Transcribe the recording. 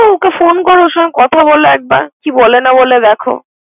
Okay phone কর । ওর সংগে কথা বল একবার কি বলে না বলে একবার?